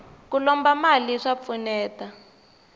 ku lomba mali swa pfuneta